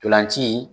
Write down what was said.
Ntolan ci